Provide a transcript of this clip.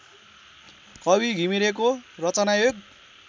कवि घिमिरेको रचनायोग